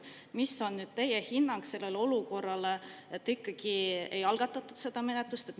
Mis on teie hinnang sellele olukorrale, et ikkagi ei algatatud seda menetlust?